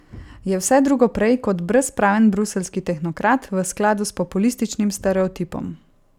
Je vse drugo prej kot brezpraven bruseljski tehnokrat v skladu s populističnim stereotipom.